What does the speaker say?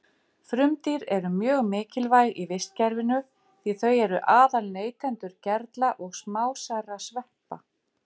Frumdýr eru mjög mikilvæg í vistkerfinu því þau eru aðal neytendur gerla og smásærra sveppa.